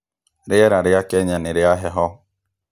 rĩera rĩa Kenya nĩ rĩa heho